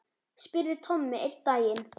spurði Tommi einn daginn.